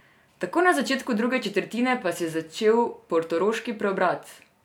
Takoj na začetku druge četrtine pa se je začel portoroški preobrat.